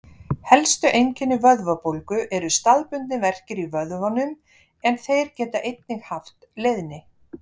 Helstu einkenni vöðvabólgu eru staðbundnir verkir í vöðvunum en þeir geta einnig haft leiðni.